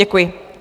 Děkuji.